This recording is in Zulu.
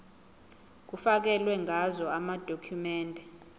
kufakelwe ngazo amadokhumende